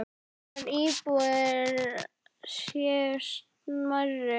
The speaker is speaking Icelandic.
Aðrar íbúðir séu smærri.